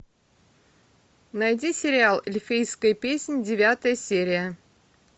найди сериал эльфийская песнь девятая серия